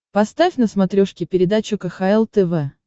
поставь на смотрешке передачу кхл тв